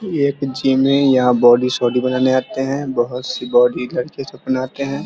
ये एक जिम है यहां बॉडी सोडी बनाने आते है बहोत-सी बॉडी लड़के सब बनाते है।